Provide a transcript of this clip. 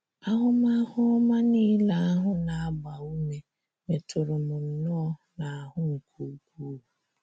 Ahụmahụ ọma nile ahụ na - agba ume metụrụ m nnọọ, n’ahụ́ nke ukwuu.